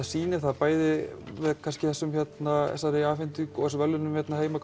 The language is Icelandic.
sýnir það bæði með þessum verðlaunum hérna heima